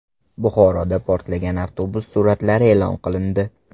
Buxoroda portlagan avtobus suratlari e’lon qilindi.